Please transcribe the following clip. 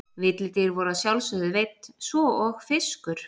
Villidýr voru að sjálfsögðu veidd svo og fiskur.